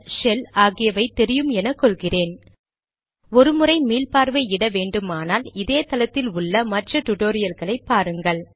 shell ஆகியவை தெரியும் என கொள்கிறேன் ஒரு முறை மீள்பார்வை இட வேண்டுமானால் இதே தளத்தில் உள்ள மற்ற டிடோரியல்களை பாருங்கள்